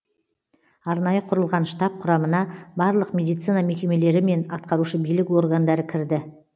арнайы құрылған штаб құрамына барлық медицина мекемелері мен атқарушы билік органдары кірді